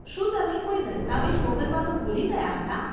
શું તમે કોઈ દસ્તાવેજ મોકલવાનું ભૂલી ગયાં હતાં?